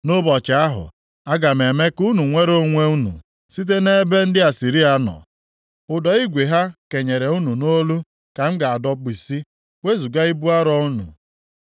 Nʼụbọchị ahụ, aga m eme ka unu nwere onwe unu site nʼebe ndị Asịrịa nọ. Ụdọ igwe ha kenyere unu nʼolu ka m ga-adọbisi, wezuga ibu arọ unu.